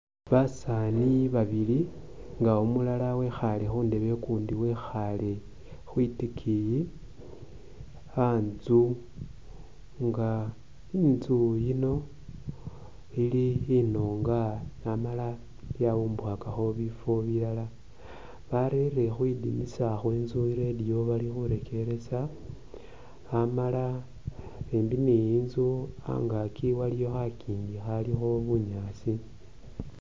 Basani babili nga umulala wekhale khundeba ukundi wekhale khwitikiyi khantsu nga intsu ino ili inunga amala yawumbukhakakho bifo bilala barere khwidinisa khwetsu i’radio bali khurekeresa amala imbi ne itsu angakyi waliwo khakingi khalikho bunyaasi .